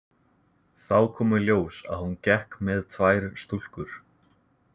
Þá kom í ljós að hún gekk með tvær stúlkur.